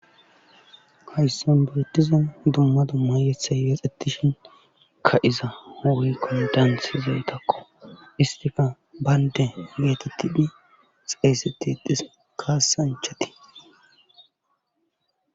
hayssan burotiza dumma dumma yethay yexettishin ka7iza hoykkon daanthzoytakko istife baynde geetettine xayseti ixis kaasanchatii